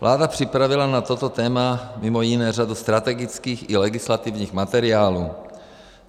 Vláda připravila na toto téma mimo jiné řadu strategických i legislativních materiálů.